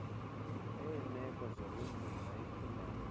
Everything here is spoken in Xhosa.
eemeko zobunzima ekhimbali